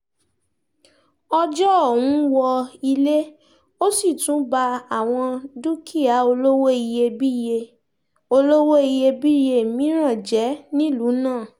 ọjọ́ ọ̀hún wọ ilé ó sì tún ba àwọn dúkìá olówó iyebíye olówó iyebíye mìíràn jẹ́ nílùú náà